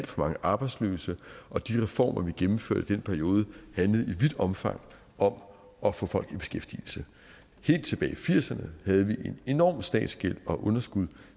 for mange arbejdsløse og de reformer vi gennemførte i den periode handlede i vidt omfang om at få folk i beskæftigelse helt tilbage i nitten firserne havde vi en enorm statsgæld og et underskud